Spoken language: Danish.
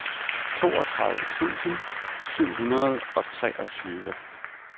toogtredive tusind syv hundrede og treogtyve